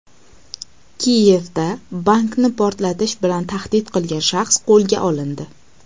Kiyevda bankni portlatish bilan tahdid qilgan shaxs qo‘lga olindi.